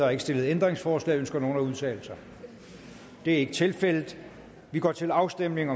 er ikke stillet ændringsforslag ønsker nogen at udtale sig det er ikke tilfældet og vi går til afstemning